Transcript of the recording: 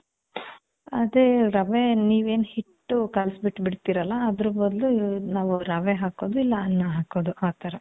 ಅದೇ, ರವೆ ನೀವೇನ್ ಹಿಟ್ಟು ಕಲ್ಸಿ ಬಿಟ್ಬಿಡ್ತೀರ ಅಲಾ, ಅದ್ರು ಬದ್ಲು ನಾವು ರವೆ ಹಾಕೋದು, ಇಲ್ಲ ಅನ್ನ ಹಾಕೋದು ಆ ಥರ.